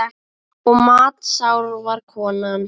Og matsár var konan.